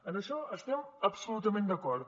en això estem absolutament d’acord